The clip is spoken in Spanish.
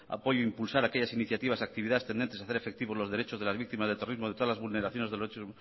apoyo impulsar aquellas iniciativas y actividades tendentes a hacer efectivo los derechos de las víctimas de terrorismo de todas las vulneraciones de lo hecho